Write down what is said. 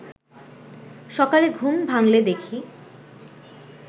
সকালে ঘুম ভাঙলে দেখি